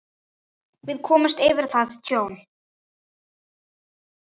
Við komumst yfir það tjón.